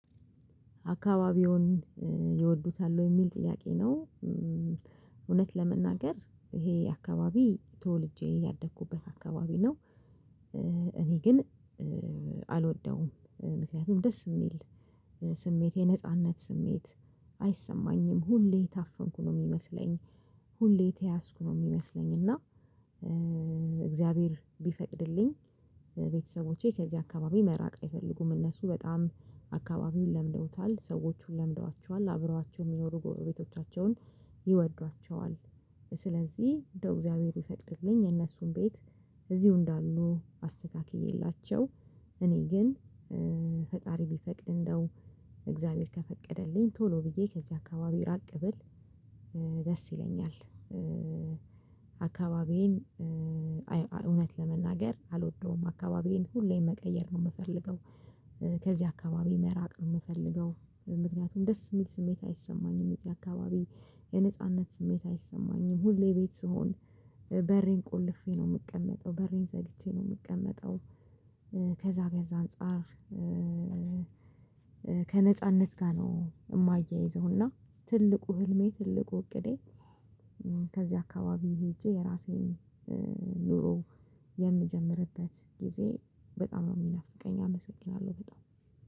አካባቢውን ይወዱታል ወይ የሚል ጥያቄ ነው? እውነት ለመናገር ይሄ አካባቢ ተወልጄ ያደኩበት አካባቢ ነው። እኔ ግን አልወደውም ምክንያቱም ደስ የሚል ስሜት የነጻነት ስሜት አይሰማኝም ሁሌ የታፈንኩ ነው የሚመስለኝ። ሁሌ የተያዝኩ ነው የሚመስለኝ። እና እግዚአብሔር ቢፈቅድልኝ ቤተሰቦቼ ከዚህ አካባቢ መራቅ አይፈልጉም እነሱ በጣም አካባቢውን ለምደውታል ሰዎቹን ለምደዋቸዋል አብረዋቸው የሚኖሩ ጎረቤቶቻቸውን ይወዷቸዋል። ስለዚህ እንደው እግዚአብሔር ይፈልግልኝ የእነሱን ቤት እዚሁ እንዳሉ አስተካክዬላቸው። እኔ ግን ፈጣሪ ቢፈቅድ እንደው እግዚአብሔር ከፈቀደልኝ ቶሎ ብዬ ከዚህ አካባቢ ራቅ ብል ደስ ይለኛል። አካባቢዬን እውነት ለመናገር አልወደውም አካባቢዬን ሁሌም መቀየር ነው የምፈልገው። ከዚህ አካባቢ መራቅ ነው የምፈልገው ምክንያቱም ደስ የሚል ስሜት አይሰማኝም እዚህ አካባቢ የነጻነት ስሜት አይሰማኝም ሁሌ ቤት ስሆን በሬን ቆልፌ ነው የምቀመጠው በሬን ዘግቼ ነው የምቀመጠው። ከዛ ከዛ አንፃር ከነፃነት ጋር ነው። የማያይዘው እና ትልቁ ህልሜ ትልቁ እቅዴ ከዚህ አካባቢ ሄጄ የራሴን ኑሮ የምጀምርበት ጊዜ በጣም ነው የሚናፍቀኝ። አመሰግናለሁ በጣም